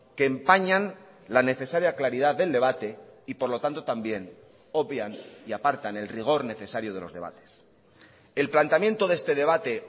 que empañan la necesaria claridad del debate y por lo tanto también obvian y apartan el rigor necesario de los debates el planteamiento de este debate